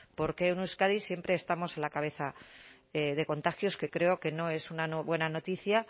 por qué en euskadi siempre estamos a la cabeza de contagios que creo que no es una buena noticia